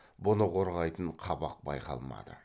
бұны қорғайтын қабақ байқалмады